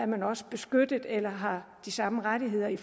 man også beskyttet eller har de samme rettigheder i